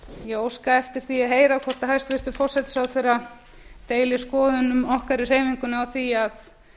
ég óska eftir að heyra hvort hæstvirtur forsætisráðherra deili skoðunum okkar í hreyfingunni á því að